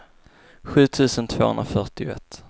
sju tusen tvåhundrafyrtioett